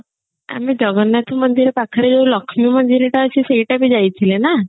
ଆମେ ଜଗନ୍ନାଥ ମନ୍ଦିର ପାଖରେ ଯୋଉ ଲକ୍ଷ୍ମୀ ମନ୍ଦିର ଟା ଅଛି ସେଇଟା ବି ଯାଇଥିଲେ ନା